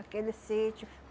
Aquele sítio.